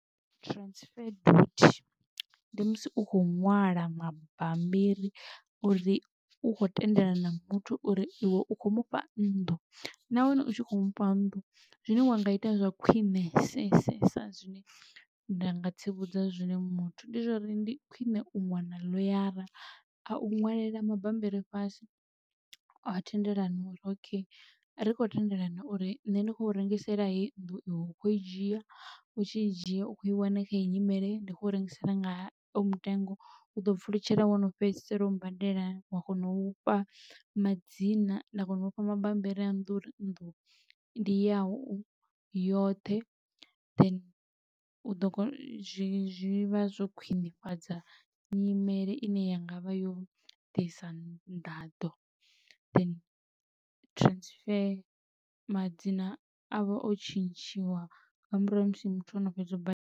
Transfer duty ndi musi u khou ṅwala mabambiri uri u kho tendelana muthu uri iwe u khou mufha nnḓu nahone u tshi khou mufha nnḓu zwine wa nga ita zwa khwiṋesesesa zwine nda nga tsivhudza zwone muthu ndi zwa uri ndi khwiṋe u wana ḽoyara a u ṅwalela mabambiri fhasi a thendelano uri okay ri khou tendelana uri nṋe ndi kho u rengisela hei nnḓu iwe ukho i dzhia u tshi dzhia u kho i wana kha heyi nyimele ndi kho u rengisela nga hoyu mutengo u ḓo pfulutshela wo no fhedzisela u badela wa kona u fha madzina nda kona u fha mabambiri a nnḓu uri nnḓu ndi yau yoṱhe then u ḓo zwivha zwo khwinifhadza nyimele ine ya ngavha yo ḓisa nḓaḓo then transfer madzina avha o tshintshiwa nga murahu ha musi muthu o no fhedza u badela.